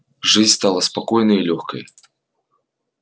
жизнь стала спокойной и лёгкой